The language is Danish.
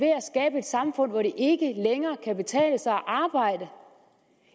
samfund hvor det ikke længere kan betale sig at arbejde